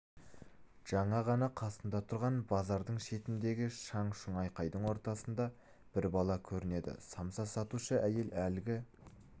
жаңа ғана қасында тұрған базардың шетіндегі шаң-шүң айкайдың ортасында бір бала көрінеді самса сатушы әйел әлгі